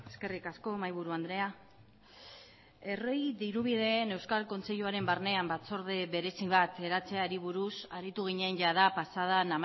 eskerrik asko mahaiburu andrea herri dirubideen euskal kontseiluaren barnean batzorde berezi bat eratzeari buruz aritu ginen jada pasadan